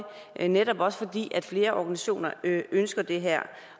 er netop også fordi flere organisationer ønsker det her